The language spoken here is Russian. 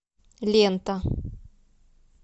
лента